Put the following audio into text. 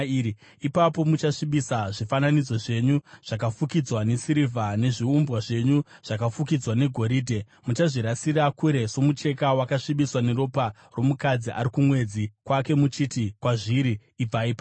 Ipapo muchasvibisa zvifananidzo zvenyu zvakafukidzwa nesirivha nezviumbwa zvenyu zvakafukidzwa negoridhe; muchazvirasira kure somucheka wakasvibiswa neropa romukadzi ari kumwedzi kwake muchiti kwazviri, “Ibvai pano!”